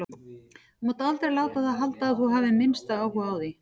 Þú mátt aldrei láta það halda að þú hafir minnsta áhuga á því.